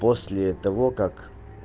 после того как